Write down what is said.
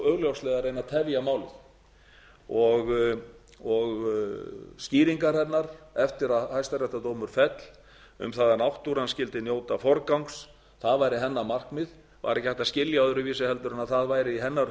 augljóslega að reyna að tefja málið skýringar hennar eftir að hæstaréttardómur féll um að náttúran skyldi njóta forgangs ár hennar markmið var ekki hægt að skilja öðruvísi en það væri í hennar